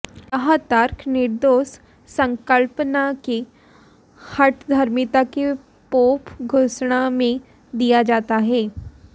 यह तर्क निर्दोष संकल्पना की हठधर्मिता के पोप घोषणा में दिया जाता है